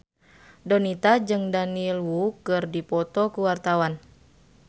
Donita jeung Daniel Wu keur dipoto ku wartawan